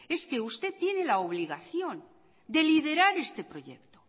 es que usted tiene la obligación de liderar este proyecto